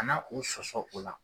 Ka na o sɔsɔ o la.